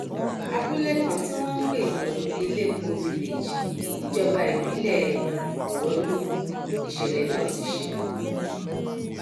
abúlé kan tí wọn ń pè ní elépo village níjọba ìbílẹ ọrọlù níṣẹlẹ náà ti ṣẹlẹ